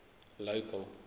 local